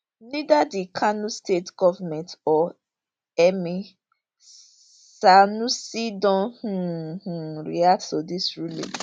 neither di kano state goment or emir sanusi don um um react to dis ruling